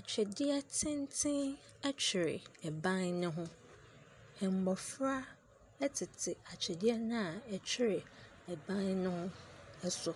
Atwedeɛ tenten twere ban ne ho, mmɔfra tete atwedeɛ no a ɛtwere ban no so,